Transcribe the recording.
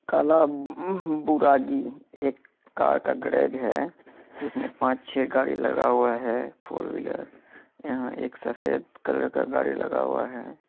काला बुगागि एक कार का गैरेज है जिसमे पांच छै गाड़ी लगा हुआ है फोर व्हीलर । यहां एक सफ़ेद कलर का गाड़ी लगा हुआ है।